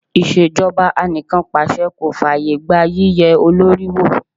Ìṣèjọba anìkànpàse kò fàyè gba yíye olórí wò.